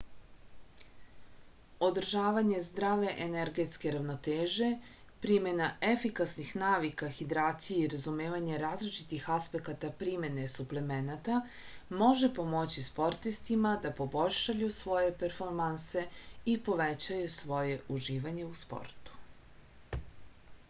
održavanje zdrave energetske ravnoteže primena efikasnih navika hidracije i razumevanje različitih aspekata primene suplemenata može pomoći sportistima da poboljšaju svoje performanse i povećaju svoje uživanje u sportu